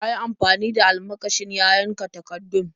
Ya yi amfani da almakashin ya yanka takardun.